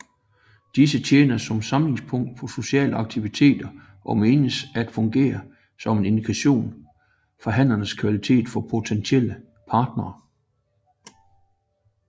Disse tjener som samlingspunkt for sociale aktiviteter og menes at fungere som en indikator for hannens kvalitet for potentielle partnere